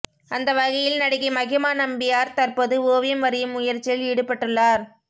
அந்த வகையில் நடிகை மஹிமா நம்பியார் தற்போது ஓவியம் வரையும் முயற்சியில் ஈடுபட்டுள்ளார்